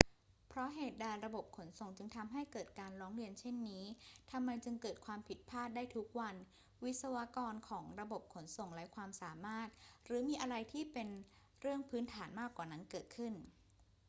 เพราะเหตุใดระบบขนส่งจึงทำให้เกิดการร้องเรียนเช่นนี้ ทำไมจึงเกิดความผิดพลาดได้ทุกวัน วิศวกรของระบบขนส่งไร้ความสามารถ หรือมีอะไรที่เป็นเรื่องพื้นฐานมากกว่านั้นเกิดขึ้น